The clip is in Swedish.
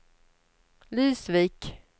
Lysvik